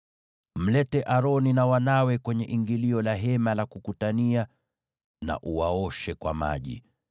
“Mlete Aroni na wanawe kwenye ingilio la Hema la Kukutania na uwaoshe kwa maji.